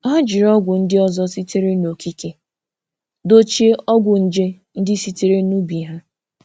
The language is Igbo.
Ha jiri ọgwụ ndị ọzọ sitere n'okike dochie ọgwụ nje ndị sitere n'ubi ha.